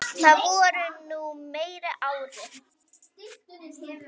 Það voru nú meiri árin.